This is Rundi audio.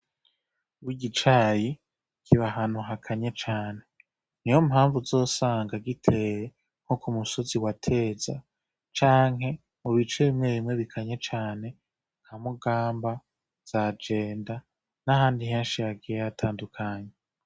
Wo igicayi kiba hantu hakanye cane ni ho mpamvu uzosanga giteye nko ku musozi wateza canke mu bico bimwe bimwe bikanye cane nka mugamba zajenda n'ahandi nhenshi hagiye hatandukanye.